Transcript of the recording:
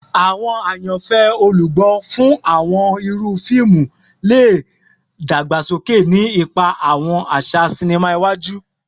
Awọn ayanfẹ olugbo fun awọn iru fiimu le dagbasoke, ni ipa awọn aṣa sinima iwaju